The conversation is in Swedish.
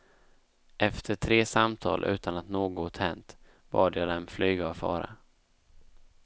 Efter tre samtal utan att något hänt bad jag dem flyga och fara.